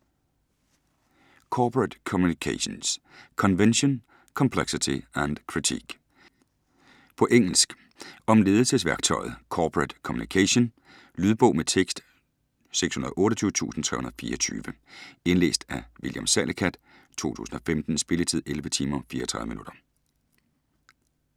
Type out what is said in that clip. Corporate communications: convention, complexity, and critique På engelsk. Om ledelsesværktøjet corporate communication. Lydbog med tekst 628324 Indlæst af William Salicath, 2015. Spilletid: 11 timer, 34 minutter.